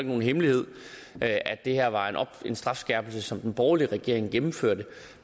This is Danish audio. nogen hemmelighed at det her var en strafskærpelse som den borgerlige regering gennemførte